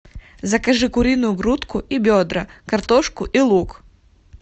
закажи куриную грудку и бедра картошку и лук